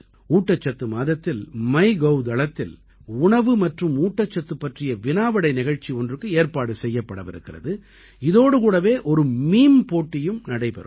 ஊட்டச்சத்து மாதத்தில் மைகோவ் தளத்தில் உணவு மற்றும் ஊட்டச்சத்து பற்றிய வினாவிடை நிகழ்ச்சி ஒன்றுக்கு ஏற்பாடு செய்யப்படவிருக்கிறது இதோடு கூடவே ஒரு மீம் போட்டியும் நடைபெறும்